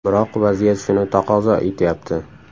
Biroq vaziyat shuni taqozo etyapti.